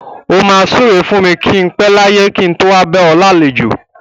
O máa súre fún mi kí n pẹ láyé kí n tó wá bá ọ lálejò.